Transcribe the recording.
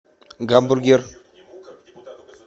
гамбургер